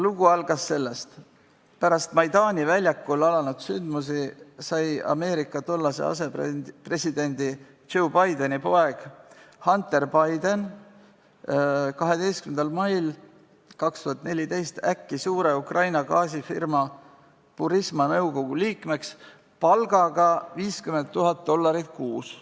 Lugu algas sellest, et pärast Maidani väljakul alanud sündmusi sai Ameerika tollase asepresidendi Joe Bideni poeg Hunter Biden 12. mail 2014 äkki suure Ukraina gaasifirma Burisma nõukogu liikmeks, kelle palgaks määrati 50 000 dollarit kuus.